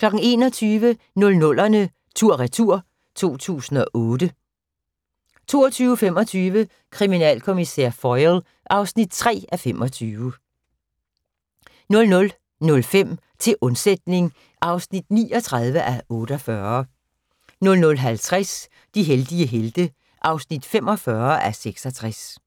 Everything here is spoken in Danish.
21:00: 00'erne tur/retur: 2008 22:25: Kriminalkommissær Foyle (3:25) 00:05: Til undsætning (39:48) 00:50: De heldige helte (45:66)